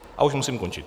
A už musím končit.